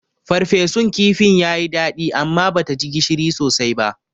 Ferfesun kifin yayi daɗi amma bata ji gishiri sosai ba.